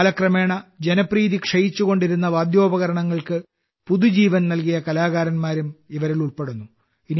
കാലക്രമേണ ജനപ്രീതി ക്ഷയിച്ചുകൊണ്ടിരുന്ന വാദ്യോപകരണങ്ങൾക്ക് പുതുജീവൻ നൽകിയ കലാകാരന്മാരും ഇവരിൽ ഉൾപ്പെടുന്നു